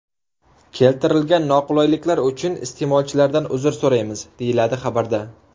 Keltirilgan noqulayliklar uchun iste’molchilardan uzr so‘raymiz, deyiladi xabarda.